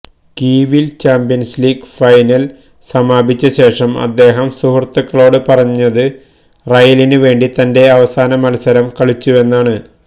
കീവില് champions league final സമാപിച്ച ശേഷം അദ്ദേഹം സുഹൃത്തുക്കളോട് പറഞ്ഞത് റയലിന് വേണ്ടി തന്റെ അവസാന മല്സരം കളിച്ചുവെന്നാണ്